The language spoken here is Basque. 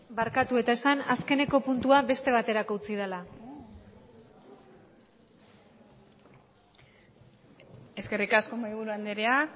barkatu eta esan azkeneko puntua beste baterako utzi dela eskerrik asko mahaiburu andrea